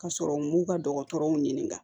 Ka sɔrɔ u m'u ka dɔgɔtɔrɔw ɲininka